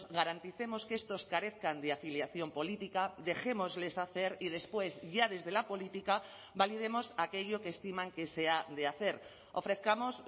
garanticemos que estos carezcan de afiliación política dejémosles hacer y después ya desde la política validemos aquello que estiman que sea de hacer ofrezcamos